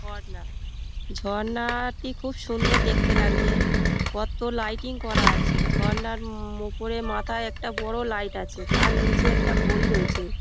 ঝর্ণা ঝর্ণা-আ টি খুব সুন্দর দেখতে লাগছে কতো লাইটিং করা আছে | ঝর্ণার উম উপরে মাথায় একটা বড়ো লাইট আছে তার নিচে একটা ঘড়ি রয়েছে |